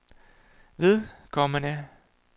vedkommende